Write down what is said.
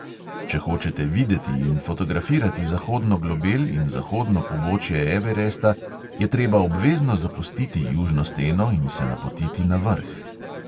Če hočete videti in fotografirati zahodno globel in zahodno pobočje everesta, je treba obvezno zapustiti južno steno in se napotiti na vrh.